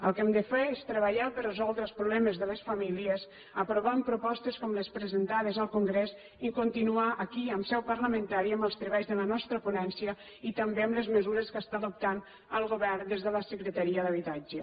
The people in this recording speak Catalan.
el que hem de fer és treballar per resoldre els problemes de les famílies aprovant propostes com les presentades al congrés i continuar aquí en seu parlamentària amb els treballs de la nostra ponència i també amb les mesures que està adoptant el govern des de la secretaria d’habitatge